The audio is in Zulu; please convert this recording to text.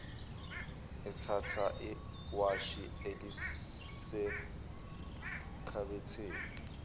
ethatha iwashi elisekhabetheni